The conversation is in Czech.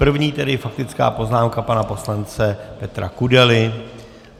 První tedy faktická poznámka pana poslance Petra Kudely.